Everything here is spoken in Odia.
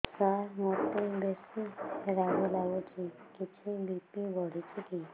ସାର ମୋତେ ବେସି ରାଗ ଲାଗୁଚି କିଛି ବି.ପି ବଢ଼ିଚି କି